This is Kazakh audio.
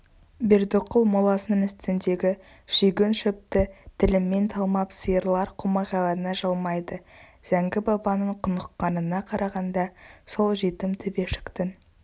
бердіқұл моласының үстіндегі шүйгін шөпті тілімен талмап сиырлар қомағайлана жалмайды зәңгі-бабаның құныққанына қарағанда сол жетім төбешіктің